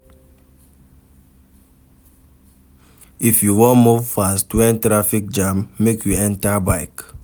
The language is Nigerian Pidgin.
If you wan move fast wen traffic jam dey, make you enta bike.